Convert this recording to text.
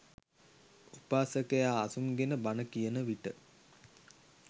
උපාසකයා අසුන්ගෙන බණ කියන විට